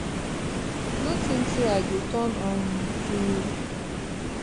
no tink say i go turn um to